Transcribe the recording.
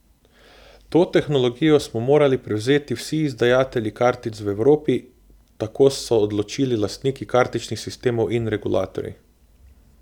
To tehnologijo smo morali prevzeti vsi izdajatelji kartic v Evropi, tako so odločili lastniki kartičnih sistemov in regulatorji.